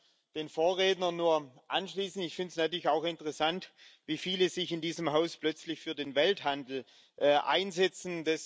Ich kann mich den Vorrednern nur anschließen Ich finde es natürlich auch interessant, wie viele sich in diesem Haus plötzlich für den Welthandel einsetzen.